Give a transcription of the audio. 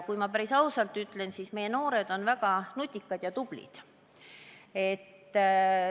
Kui ma päris ausalt ütlen, siis meie noored on väga nutikad ja tublid.